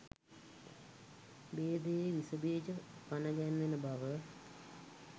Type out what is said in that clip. භේදයේ විෂබීජ පනගැන්වෙන බව